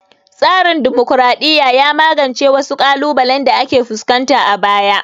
Tsarin dimokraɗiya ya magance wasu ƙalubalen da aka fuskanta a baya